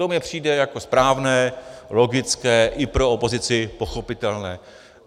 To mi přijde jako správné, logické, i pro opozici pochopitelné.